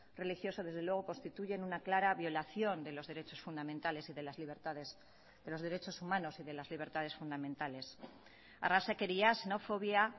religioso desde luego constituyen una clara violación de los derechos fundamentales y de las libertades de los derechos humanos y de las libertades fundamentales arrazakeriaz xenofobia